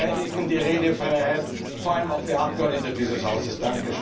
Wir verteidigen die Redefreiheit, vor allem auch für Abgeordnete dieses Hauses.